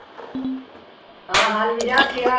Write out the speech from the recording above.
ਹਾਂ ਹਾਂ ਵੀਰਾ ਕੀ ਹਾਲ